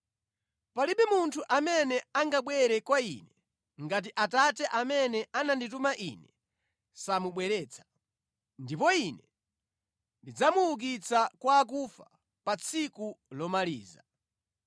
Palibe munthu amene angabwere kwa Ine, ngati Atate amene anandituma Ine samubweretsa. Ndipo Ine ndidzamuukitsa kwa akufa pa tsiku lomaliza.